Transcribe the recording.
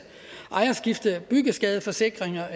ejerskiftebyggeskadeforsikringer